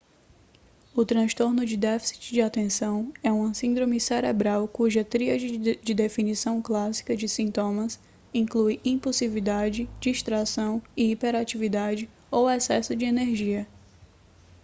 o transtorno de déficit de atenção é uma síndrome cerebral cuja tríade de definição clássica de sintomas inclui impulsividade distração e hiperatividade ou excesso de energia